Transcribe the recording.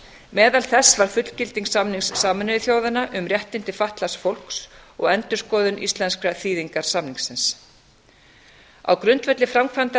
meðal þess var fullgilding samnings sameinuðu þjóðanna um réttindi fatlaðs fólks og endurskoðun íslenskrar þýðingar samningsins á grundvelli framkvæmdar